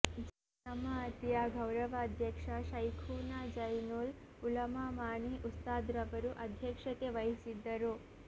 ಜಮಾಅತಿಯ ಗೌರವಾಧ್ಯಕ್ಷ ಶೈಖುನಾ ಝೈನುಲ್ ಉಲಮಾ ಮಾಣಿ ಉಸ್ತಾದ್ರವರು ಅಧ್ಯಕ್ಷತೆ ವಹಿಸಿದ್ದರು